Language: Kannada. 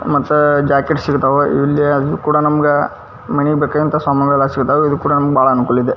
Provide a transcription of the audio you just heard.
ಮತ್ತ ಜಾಕೆಟ್ ಸಿಗ್ತವು ಇಲ್ಲಿ ಅದು ಕೂಡ ಮನಗ ಮನೆಗ್ ಬೇಕಾದಂತಹ ಸಾಮಾನು ಕೂಡ ಸಿಗ್ತವು. ಇದು ಕೂಡ ನಮಗೆ ಬಹಳ ಅನುಕೂಲ ಇದೆ.